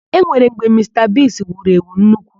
E nwere mgbe Mista Bigi wuru èwù nnukwu.